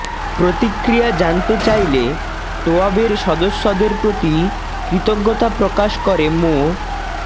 প্রতিক্রিয়া জানতে চাইলে টোয়াবের সদস্যদের প্রতি কৃতজ্ঞতা প্রকাশ করে মো